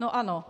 No ano.